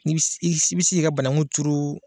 I bɛ se k'i ka bananku turu.